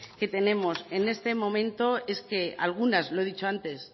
que tenemos en este momento es que algunas lo he dicho antes